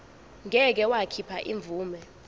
ngeke wakhipha imvume